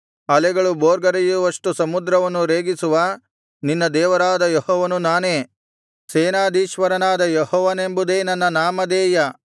ಅಲೆಗಳು ಭೋರ್ಗರೆಯುವಷ್ಟು ಸಮುದ್ರವನ್ನು ರೇಗಿಸುವ ನಿನ್ನ ದೇವರಾದ ಯೆಹೋವನು ನಾನೇ ಸೇನಾಧೀಶ್ವರನಾದ ಯೆಹೋವನೆಂಬುದೇ ನನ್ನ ನಾಮಧೇಯ